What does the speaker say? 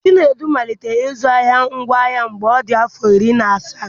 Chinedu malitere ịzụ ahịa ngwaahịa mgbe ọ dị afọ iri na asaa.